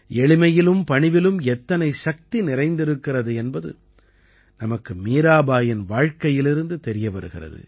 எளிமையிலும் பணிவிலும் எத்தனை சக்தி நிறைந்திருக்கிறது என்பது நமக்கு மீராபாயின் வாழ்க்கையிலிருந்து தெரிய வருகிறது